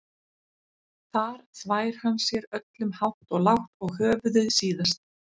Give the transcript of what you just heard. Þar þvær hann sér öllum hátt og lágt og höfuðið síðast.